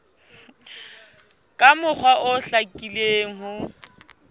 ka mokgwa o hlakileng ho